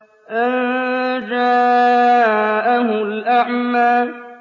أَن جَاءَهُ الْأَعْمَىٰ